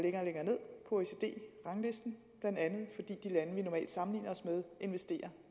oecd ranglisten blandt andet fordi de lande vi normalt sammenligner os med investerer